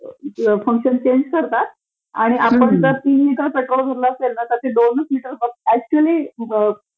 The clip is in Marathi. फंक्शन चेंज करतात आणि आपण जर तीन लिटर पेट्रोल तर ते दोनच लिटर अक्चुअली